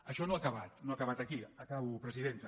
això no ha acabat no ha acabat aquí acabo presidenta